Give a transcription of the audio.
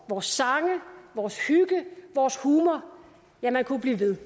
vores sange vores hygge vores humor ja man kunne blive ved